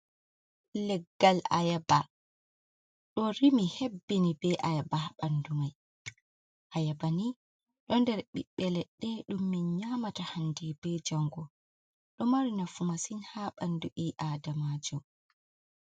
Leggal Ayaba, ɗo rimi hebbini bee Ayaba haa ɓanndu may, Ayaba ni ɗo nder ɓiɓɓe leɗɗe ɗum min nyaamata hannde bee janngo, ɗo mari nafu masin haa banndu ɓii adamaajo.